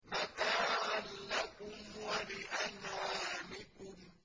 مَتَاعًا لَّكُمْ وَلِأَنْعَامِكُمْ